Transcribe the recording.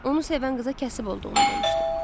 Onu sevən qıza kəsib olduğunu demişdi.